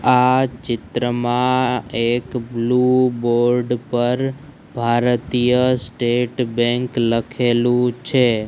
આ ચિત્રમાં એક બ્લુ બોર્ડ પર ભારતીય સ્ટેટ બેન્ક લખેલુ છે.